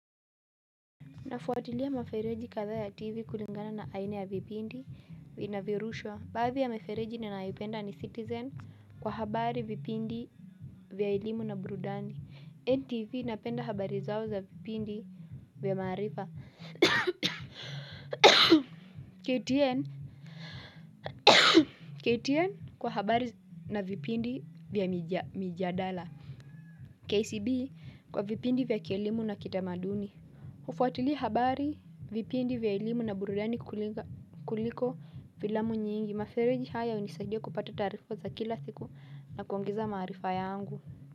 Nafuatilia mafereji kadhaa ya TV kulingana na aina ya vipindi vina vyorushwa. Baadhi ya mafereji ninayoipenda ni citizen kwa habari vipindi vya elimu na burudani. Ntv napenda habari zao za vipindi na maarifa KTN kwa habari na vipindi vya mijadala. KCB kwa vipindi vya kielimu na kitamaduni. Hufuatilia habari, vipindi vya elimu na burudani kuliko filamu nyingi, mafereji haya hunisaidia kupata taarifa za kila siku na kuongeza maarifa yangu.